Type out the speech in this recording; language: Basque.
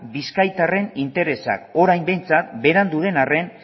bizkaitarren interesak orain behintzat berandu den arren